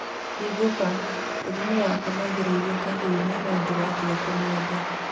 Hingũka.... mũtumia wakwa nĩagereire kahiũnĩ no digatiga kũmũenda